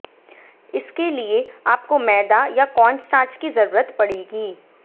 इसके लिए आपको मैदा या कार्न स्टार्च की जरूरत पड़ेगी